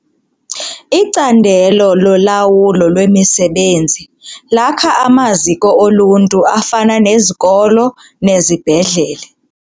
Icandelo lolawulo lwemisebenzi lakha amaziko oluntu afana nezikolo nezibhedlele.